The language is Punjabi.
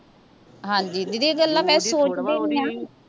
ਹਾਂਜੀ ਦੀਦੀ ਇਹ ਗੱਲਾਂ ਮੈਂ ਸੋਚਦੀ ਵੀ ਆਂ